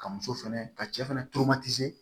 Ka muso fɛnɛ ka cɛ fɛnɛ